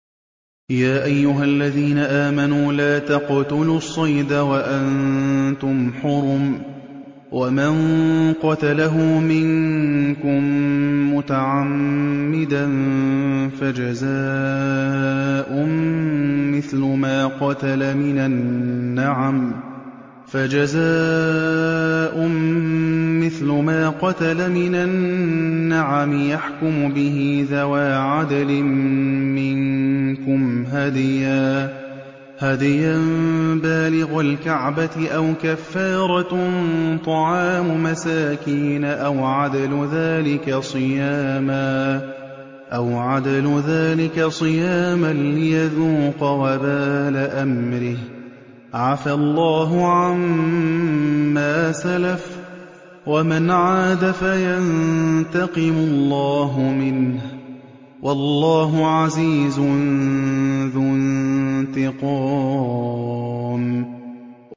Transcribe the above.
يَا أَيُّهَا الَّذِينَ آمَنُوا لَا تَقْتُلُوا الصَّيْدَ وَأَنتُمْ حُرُمٌ ۚ وَمَن قَتَلَهُ مِنكُم مُّتَعَمِّدًا فَجَزَاءٌ مِّثْلُ مَا قَتَلَ مِنَ النَّعَمِ يَحْكُمُ بِهِ ذَوَا عَدْلٍ مِّنكُمْ هَدْيًا بَالِغَ الْكَعْبَةِ أَوْ كَفَّارَةٌ طَعَامُ مَسَاكِينَ أَوْ عَدْلُ ذَٰلِكَ صِيَامًا لِّيَذُوقَ وَبَالَ أَمْرِهِ ۗ عَفَا اللَّهُ عَمَّا سَلَفَ ۚ وَمَنْ عَادَ فَيَنتَقِمُ اللَّهُ مِنْهُ ۗ وَاللَّهُ عَزِيزٌ ذُو انتِقَامٍ